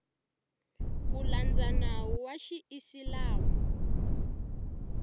ku landza nawu wa xiisilamu